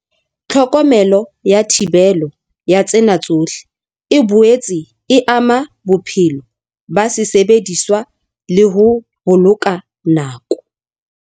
Tlhokomelo ya thibelo ya tsena tsohle e boetse e ama bophelo ba sesebediswa le ho boloka nako.